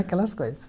Aquelas coisas.